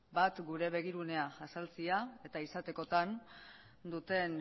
bat gure begirunea azaltzea eta izatekotan duten